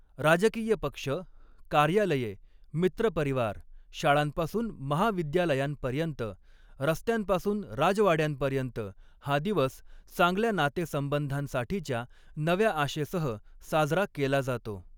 राजकीय पक्ष, कार्यालये, मित्रपरिवार, शाळांपासून महाविद्यालयांपर्यंत, रस्त्यांपासून राजवाड्यांपर्यंत, हा दिवस चांगल्या नातेसंबंधांसाठीच्या नव्या आशेसह साजरा केला जातो.